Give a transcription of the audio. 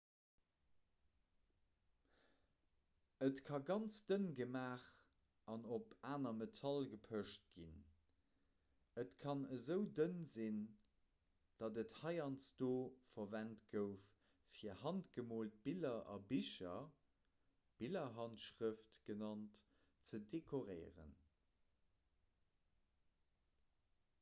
et ka ganz dënn gemaach an op aner metall gepecht ginn et kann esou dënn sinn datt et heiansdo verwent gouf fir handgemoolt biller a bicher billerhandschrëft genannt ze dekoréieren